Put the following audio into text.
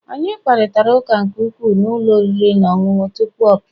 Anyị kparịta ụka nke ukwuu na ụlọ oriri na ọṅụṅụ tupu ọ pụọ